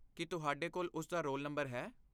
ਕੀ ਤੁਹਾਡੇ ਕੋਲ ਉਸਦਾ ਰੋਲ ਨੰਬਰ ਹੈ?